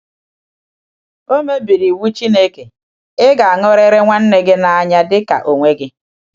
O mebiri iwu Chineke: “Ị ga-aṅụrịrị nwanne gị n’anya dị ka onwe gị.”